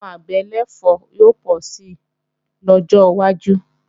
Àwọn àgbẹ̀ ẹlẹ̀fọ́ yóò pọ̀ si lọ́jọ́ wájú